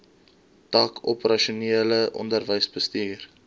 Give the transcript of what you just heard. tak operasionele onderwysbestuur